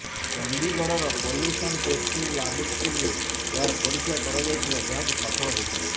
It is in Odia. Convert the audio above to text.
ଚଣ୍ଡୀଗଡ଼ର ପଲ୍ୟୁଶନ ଟେଷ୍ଟିଙ୍ଗ୍ ଲାବୋରେଟୋରିରେ ଏହାର ପରୀକ୍ଷା କରାଯାଇଥିଲା ଯାହାକି ସଫଳ ହୋଇଥିଲା